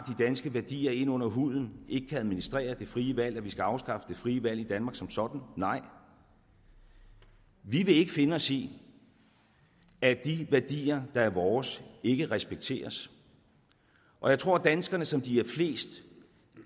danske værdier inde under huden ikke kan administrere det frie valg at vi så skal afskaffe det frie valg i danmark som sådan nej vi vil ikke finde os i at de værdier der er vores ikke respekteres og jeg tror at danskerne som de er flest